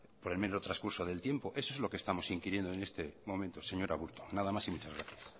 por el mero transcurso del tiempo eso es lo que estamos inquiriendo en este momento señor aburto nada más y muchas gracias